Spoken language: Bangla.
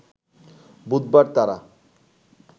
বুধবার তারা